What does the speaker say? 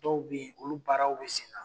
Dɔw be ye olu baaraw be sen na